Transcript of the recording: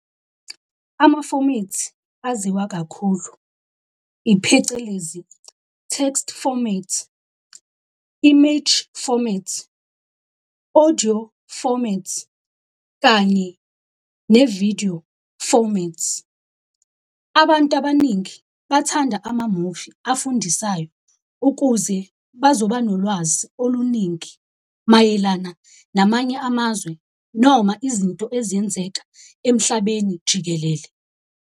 Amafomithi aziwa kakhulu iphecelezi text format, image format, audio format, kanye ne-video format. Abantu abaningi bathanda amamuvi abafundisayo ukuze bazoba nolwazi oluningi mayelana namanye amazwe noma izinto ezenzeka emhlabeni jikelele.